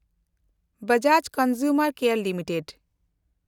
Bajaj consumer care limited